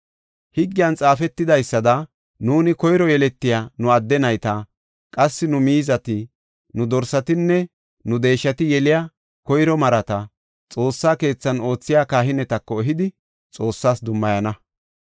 “Higgiyan xaafetidaysada nuuni koyro yeletiya nu adde nayta, qassi nu miizati, nu dorsatinne nu deeshati yeliya koyro marata Xoossa keethan oothiya kahinetako ehidi Xoossas dummayana.